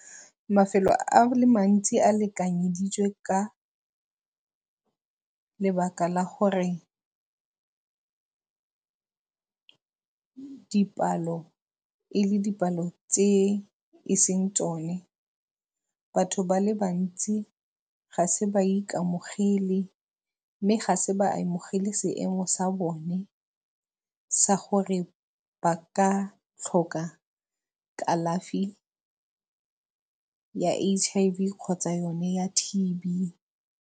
Mafelo a le mantsi a lekanyeditswe ka lebaka la gore dipalo, e le dipalo tse e seng tsone. Batho ba le bantsi ga se ba ikamogele mme ga se ba amogele seemo sa bone sa gore ba ka tlhoka kalafi ya H_I_V kgotsa yone ya T_B.